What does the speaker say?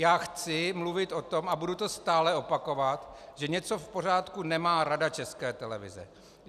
Já chci mluvit o tom, a budu to stále opakovat, že něco v pořádku nemá Rada České televize.